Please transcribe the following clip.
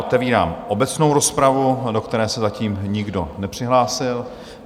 Otevírám obecnou rozpravu, do které se zatím nikdo nepřihlásil.